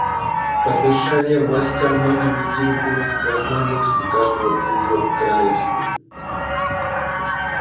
послушание властям многие недели было сквозной мыслью каждого призыва в королевстве